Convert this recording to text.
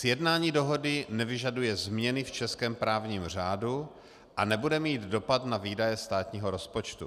Sjednání dohody nevyžaduje změny v českém právním řádu a nebude mít dopad na výdaje státního rozpočtu.